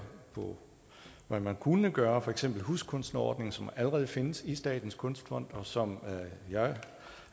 på hvad man kunne gøre for eksempel huskunstnerordningen som allerede findes i statens kunstfond og som jeg